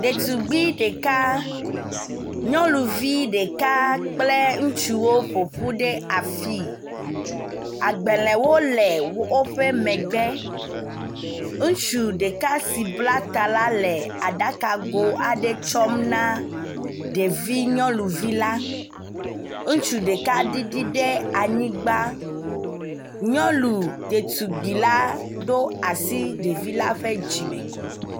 ɖetugbi ɖeka nyɔnuvi ɖeka kple ŋutsuwo ƒoƒu ɖe afii agbelēwo le wóƒe megbe ŋutsu ɖeka si bla ta la le aɖaka go aɖe tsɔm na ɖevi nyɔnuvi la ŋustu ɖeka ɖiɖi ɖe anyigbã nyɔnu ɖetugbi la ɖo asi ɖevi la ƒe dzime